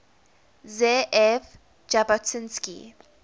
ze ev jabotinsky